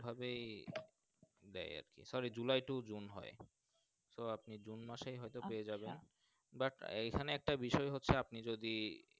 তো ওই ভাবেই দেয় আরকি July tow June হয় তো আপনি June মাস এই হয় তো আপনি পেয়েযাবেন আচ্ছা যাক এখানে আজ্যটা বিষয় হচ্ছে আপনি যদি।